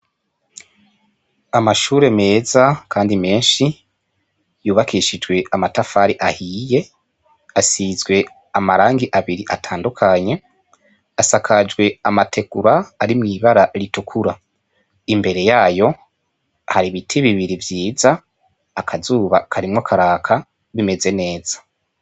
Amashure meza, kandi menshi yubakishijwe amatafari ahiye, asizwe amarangi abiri atandukanye asakajwe amatekura ari mw'ibara ritukura, imbere yayo hari ibiti bibiri vyiza akazuba karimwoka aka bimeze neza.